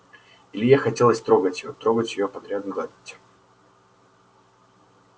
илье хотелось трогать её трогать все подряд гладить